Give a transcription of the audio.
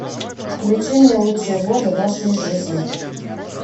включи мне лучшие годы нашей жизни